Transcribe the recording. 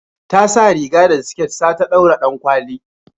Ta sa riga da siket sa ta daura dankwali